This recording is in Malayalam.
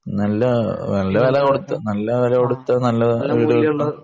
നല്ല വില കൊടുത്താൽ നല്ല സാധനങ്ങൾ